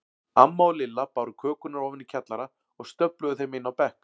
Amma og Lilla báru kökurnar ofan í kjallara og stöfluðu þeim inn á bekk.